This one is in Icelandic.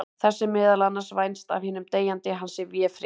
Þess er meðal annars vænst af hinum deyjandi að hann sé véfrétt.